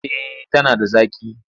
Eh tana da zaƙi.